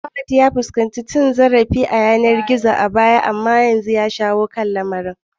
Fahad ya fuskanci cin zarafi ta yanar gizo a baya amma ya dauki matakin shawo kan lamarin